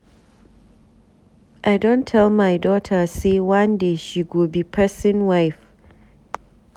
I don tell my dota sey one day she go be pesin wife.